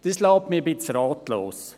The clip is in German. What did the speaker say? Das lässt mich ein bisschen ratlos.